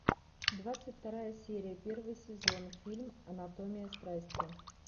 двадцать вторая серия первый сезон фильм анатомия страсти